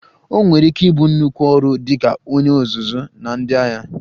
O nwere ike ịbụ nnukwu ọrụ dị ka onye ọzụzụ na ndị agha